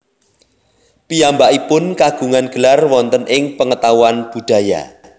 Piyambakipun kagungan gelar wonten ing pengetahuan budaya